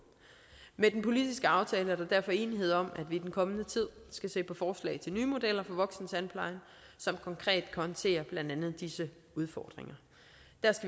med den politiske aftale er der derfor enighed om at vi i den kommende tid skal se på forslag til nye modeller for voksentandplejen som konkret kan håndtere blandt andet disse udfordringer